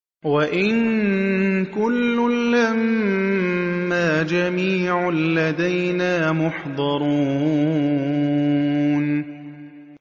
وَإِن كُلٌّ لَّمَّا جَمِيعٌ لَّدَيْنَا مُحْضَرُونَ